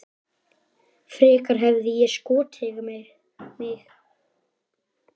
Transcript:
Frekar hefði ég skotið mig.